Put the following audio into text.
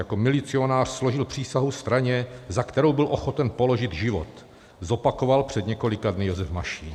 "Jako milicionář složil přísahu straně, za kterou byl ochoten položit život," zopakoval před několika dny Josef Mašín.